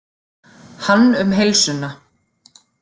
Hann um heilsuna.